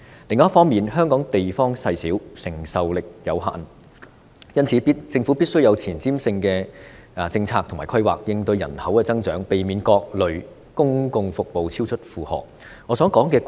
另一方面，香港地方細小，承受力有限，因此，政府必須有前瞻性的政策和規劃，應對人口增長，避免各類公共服務超出負荷。